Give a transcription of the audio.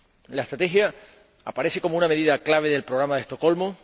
La Estrategia aparece como una medida clave del Programa de Estocolmo